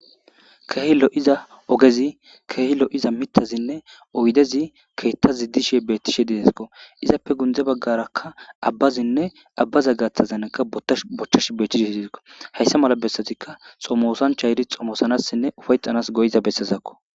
Keehi lo'iza ogezi keehilo iza mitazinne oydezi keetta ziddishe bettishe didesko izappe gundze baggarakka abbazinne abbaza gaththazanakka bottash bochchash beettishe iiekko hayssa mala bessetikka xomosan chayri xomosanassinne ufayxanas goyiza bessezakko.